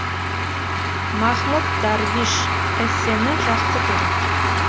махмуд дарвиш эссені жақсы көрем